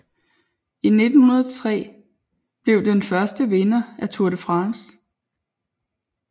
I 1903 blev den første vinder af Tour de France